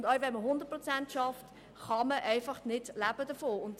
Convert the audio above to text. Auch wer 100 Prozent arbeitet, kann einfach nicht davon leben.